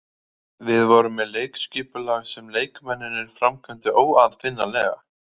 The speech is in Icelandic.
Við vorum með leikskipulag sem leikmennirnir framkvæmdu óaðfinnanlega.